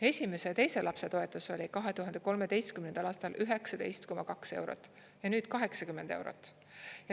Esimese ja teise lapse toetus oli 2013. aastal 19,2 eurot ja nüüd 80 eurot.